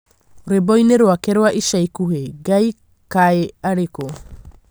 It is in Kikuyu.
rwĩmbo-inĩ rwake rwa ica ikuhĩ, Ngai kaĩ arĩku?